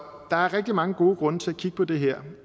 der er rigtig mange gode grunde til at kigge på det her